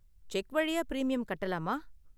Check வழியா premium கட்டலாமா?